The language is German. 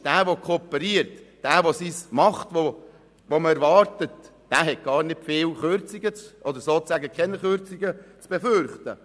Doch wer kooperiert und das tut, was man erwartet, hat kaum oder sozusagen keine Kürzungen zu befürchten.